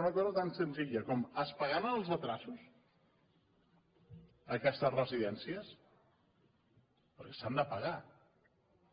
una cosa tan senzilla com es pagaran es els endarreriments a aquestes residències perquè s’han de pagar